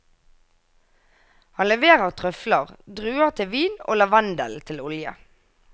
Han leverer trøfler, druer til vin og lavendel til olje.